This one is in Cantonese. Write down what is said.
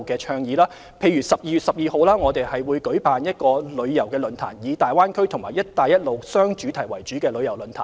例如，我們會在12月12日舉辦一個以大灣區及"一帶一路"為雙主題的旅遊論壇。